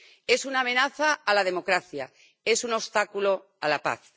Es una amenaza a la democracia, es un obstáculo a la paz.